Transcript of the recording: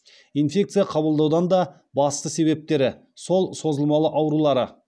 инфекция қабылдаудаң да басты себептері сол созылмалы аурулары